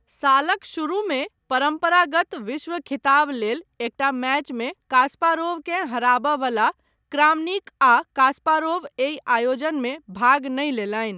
सालक शुरूमे परम्परागत विश्व खिताब लेल एकटा मैचमे कास्पारोवकेँ हराबय वला क्रामनिक आ कास्पारोव एहि आयोजनमे भाग नहि लेलनि ।